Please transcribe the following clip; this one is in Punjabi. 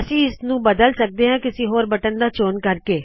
ਅਸੀ ਇਸਨੂੰ ਬਦਲ ਸਕਦੇ ਹਾ ਕਿਸੀ ਹੋਰ ਬਟਨ ਦਾ ਚੋਣ ਕਰਕੇ